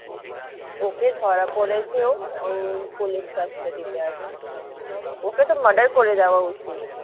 ওকে ধরা পড়েছে ও পুলিশ custody তে আছে। ওকে তো murder করে দেওয়া উচিত।